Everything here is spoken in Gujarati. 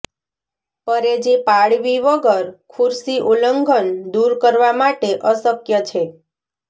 પરેજી પાળવી વગર ખુરશી ઉલ્લંઘન દૂર કરવા માટે અશક્ય છે